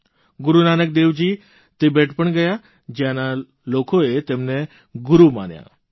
ગુરૂ Nanak Devji Tibet પણ ગયા જ્યાંના લોકોએ તેમને ગુરૂ માન્યા હતા